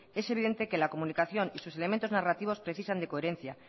es evidente que la comunicación y sus elementos narrativos precisan de coherencia